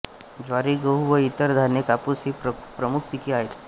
ज्वारी गहू व इतर धान्ये कापूस ही प्रमुख पिके आहेत